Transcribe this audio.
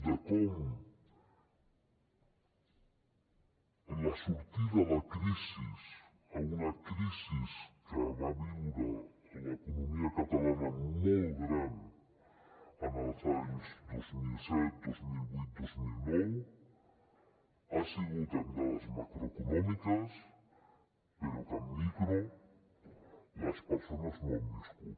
de com la sortida de la crisi d’una crisi que va viure l’economia catalana molt gran en els anys dos mil set dos mil vuit dos mil nou ha sigut en dades macroeconòmiques però que en micro les persones no l’han viscut